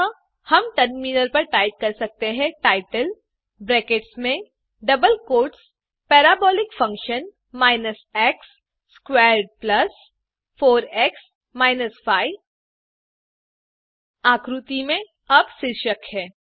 अतः हम टर्मिनल पर टाइप कर सकते हैं टाइटल ब्रैकेट्स में और double quotes parabolic function x squared plus 4एक्स माइनस 5 आकृति में अब शीर्षक है